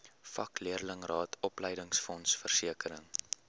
vakleerlingraad opleidingsfonds versekering